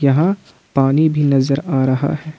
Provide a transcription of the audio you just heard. यहां पानी भी नजर आ रहा है।